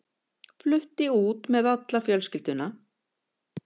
Flutti út með alla fjölskylduna.